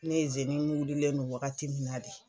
Ni izini wililen no wagati min na de